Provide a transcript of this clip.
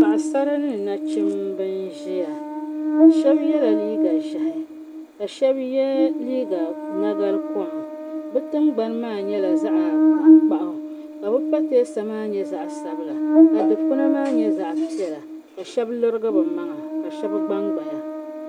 Paɣisara ni nachimba n-ʒiya shɛba yela liiga ʒɛhi ka shɛba liiga nagalikom bɛ tingbani maa nyɛla zaɣ'tankpaɣu ka bɛ pateesa maa nyɛ zaɣ'sabila ka dukpuna maa nyɛ zaɣ'piɛla ka shɛba lirigi bɛ maŋa ka shɛba gbangbaya.